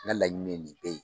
N' laɲini ye nin bɛɛ ye